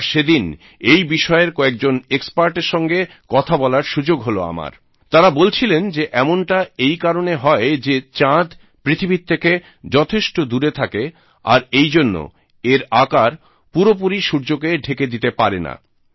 আর সে দিন এই বিষয়ের কয়েকজন এক্সপার্টের সঙ্গে কথা বলার সুযোগ হল আমার তাঁরা বলছিলেন যে এমনটা এই কারণে হয় যে চাঁদ পৃথিবীর থেকে যথেষ্ট দূরে থাকে আর এইজন্য এর আকার পুরোপুরি সূর্যকে ঢেকে দিতে পারে না